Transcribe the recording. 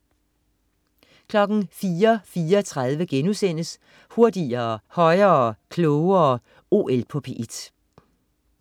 04.34 Hurtigere, højere, klogere. OL på P1*